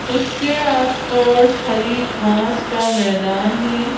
उसके आसपास हरी घास का मैदान है।